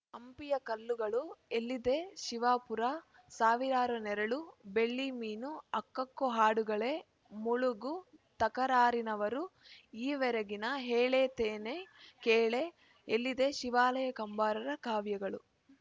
ಹಂಪಿಯ ಕಲ್ಲುಗಳು ಎಲ್ಲಿದೆ ಶಿವಾಪುರ ಸಾವಿರಾರು ನೆರಳು ಬೆಳ್ಳಿ ಮೀನು ಅಕ್ಕಕ್ಕು ಹಾಡುಗಳೇ ಮುಳುಗು ತಕರಾರಿನವರು ಈವರೆಗಿನ ಹೇಳತೇನೆ ಕೇಳ ಎಲ್ಲಿದೆ ಶಿವಾಲಯ ಕಂಬಾರರ ಕಾವ್ಯಗಳು